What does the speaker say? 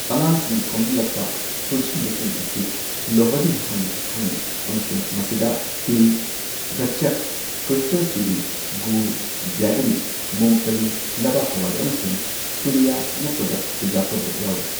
ꯑꯉꯥꯡꯁꯤꯡꯅ ꯈꯣꯝꯖꯤꯜꯂꯛꯄ ꯄꯨꯟꯁꯤꯟꯕꯁꯤꯡ ꯑꯁꯤ ꯂꯣꯍꯔꯤ ꯍꯥꯏꯅ ꯈꯪꯅꯩ ꯑꯃꯁꯨꯡ ꯃꯁꯤꯗ ꯇꯤꯜ, ꯒꯆꯆꯛ, ꯀ꯭ꯔꯤꯁꯇꯦꯜ ꯆꯤꯅꯤ, ꯒꯨꯔ ꯖꯦꯒꯔꯤ, ꯃꯨꯡꯐꯂꯤ ꯂꯩꯕꯥꯛꯍꯋꯥꯏ ꯑꯃꯁꯨꯡ ꯐꯨꯂꯤꯌꯥ ꯅꯠꯇ꯭ꯔꯒ ꯆꯨꯖꯥꯛ ꯀꯕꯣꯛ ꯌꯥꯎꯔꯤ꯫